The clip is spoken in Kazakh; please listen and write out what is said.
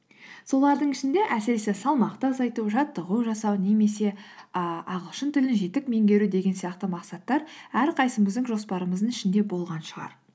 солардың ішінде әсіресе салмақты азайту жаттығу жасау немесе і ағылшын тілін жетік меңгеру деген сияқты мақсаттар әрқайсымыздың жоспарымыздың ішінде болған шығар